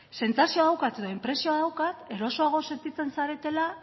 sentsazioa daukat edo inpresioa daukat erosoago sentitzen zaretela